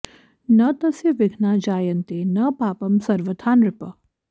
न तस्य विघ्ना जायन्ते न पापं सर्वथा नृप